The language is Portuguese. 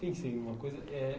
pensei em uma coisa. Eh